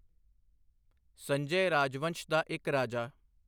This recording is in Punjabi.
ਸੰਜੇ ਰਾਜਵੰਸ਼ ਦਾ ਇੱਕ ਰਾਜਾ।